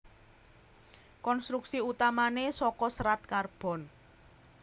Konstruksi utamané saka serat karbon